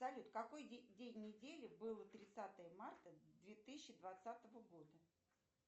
салют какой день недели было тридцатое марта две тысячи двадцатого года